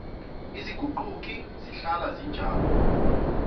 aziguquki zihlala zinjalo